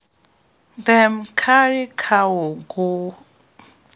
them carry cow go